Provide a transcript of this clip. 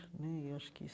Né e eu acho que